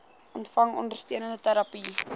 ontvang ondersteunende terapie